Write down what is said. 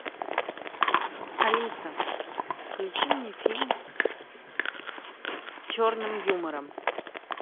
алиса включи мне фильм с черным юмором